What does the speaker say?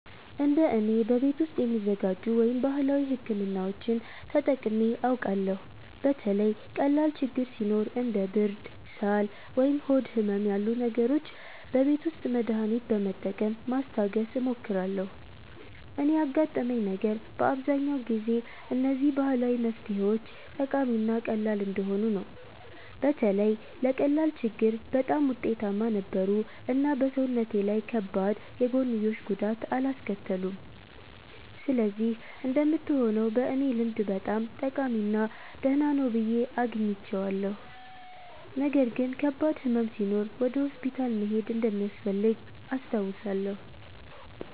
እንደ እኔ፣ በቤት ውስጥ የሚዘጋጁ ወይም ባህላዊ ሕክምናዎችን ተጠቅሜ አውቃለሁ። በተለይ ቀላል ችግኝ ሲኖር እንደ ብርድ፣ ሳል ወይም ሆድ ህመም ያሉ ነገሮች በቤት ውስጥ መድሃኒት በመጠቀም ማስታገስ እሞክራለሁ። እኔ ያጋጠመኝ ነገር በአብዛኛው ጊዜ እነዚህ ባህላዊ መፍትሄዎች ጠቃሚ እና ቀላል እንደሆኑ ነበር። በተለይ ለቀላል ችግኝ በጣም ውጤታማ ነበሩ እና በሰውነቴ ላይ ከባድ የጎንዮሽ ጉዳት አላስከተሉም። ስለዚህ እንደምትሆነው በእኔ ልምድ በጣም ጠቃሚ እና ደህና ነው ብዬ አግኝቼዋለሁ። ነገር ግን ከባድ ሕመም ሲኖር ወደ ሆስፒታል መሄድ እንደሚያስፈልግ አስታውሳለሁ።